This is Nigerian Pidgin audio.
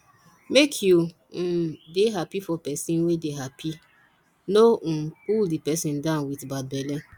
make you um dey happy for person wey dey happy no um pull di person down with bad belle